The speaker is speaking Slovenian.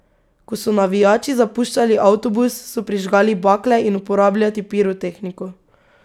Ko so navijači zapuščali avtobus, so prižgali bakle in uporabljati pirotehniko.